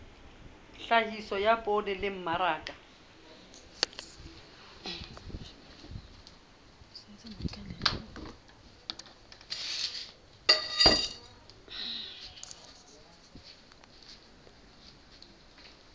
tlhahiso ya poone le mmaraka